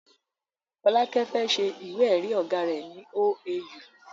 Folake fẹ́ se ìwé èrí ọ̀gá rẹ ní OAU